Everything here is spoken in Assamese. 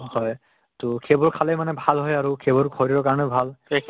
হয়, to সেইবোৰ খালে মানে ভাল হয় আৰু সেইবোৰ শৰীৰৰ কাৰণেও ভাল